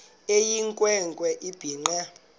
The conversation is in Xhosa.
eyinkwe nkwe ebhinqe